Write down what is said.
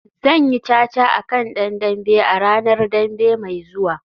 Zan yi caca a kan dan dambe a ranar Dambe mai zuwa